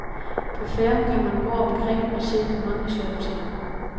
På færgen kan man gå omkring, og se på mange sjove ting.